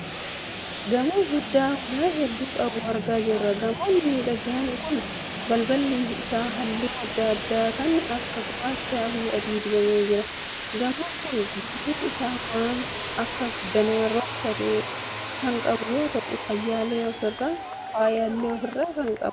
Gamoo guddaa ulaa hedduu qabu argaa jirra. Gamoon miidhagaan kun balballi isaa halluu adda addaa kan akka gurraachaa fi adiin dibamee jira. Gamoon kun guutuun isaa waan akka danaa roga sadee kan qabu yoo ta'u faayyaalee ofi irraa qaba.